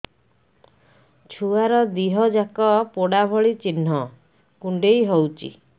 ଛୁଆର ଦିହ ଯାକ ପୋଡା ଭଳି ଚି଼ହ୍ନ କୁଣ୍ଡେଇ ହଉଛି